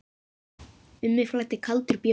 Um mig flæddi kaldur bjór.